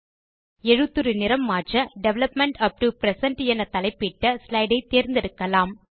எழுத்துரு நிறம் மாற்ற டெவலப்மெண்ட் உப் டோ பிரசன்ட் என தலைப்பிட்ட ஸ்லைடு ஐ தேர்ந்தெடுக்கலாம்